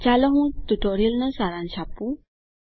ચાલો હું ટ્યુટોરીયલનો સારાંશ આપું